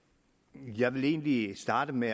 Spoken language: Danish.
jeg vil egentlig starte med